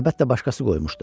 Əlbəttə başqası qoymuşdu.